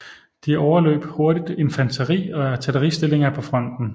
De overløb hurtigt infanteri og artilleristillinger på fronten